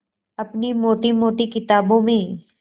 अपनी मोटी मोटी किताबों में